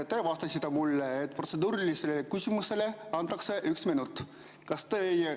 Te vastasite mulle, et protseduurilise küsimuse antakse üks minut.